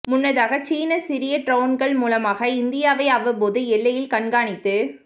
முன்னதாக சீனா சிறிய டிரோன்கள் மூலமாக இந்தியாவை அவ்வப்போது எல்லையில் கண்காணித்து